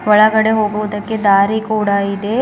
ಒಳಗಡೆ ಹೋಗುವುದಕ್ಕೆ ದಾರಿ ಕೂಡ ಇದೆ ಒನ್--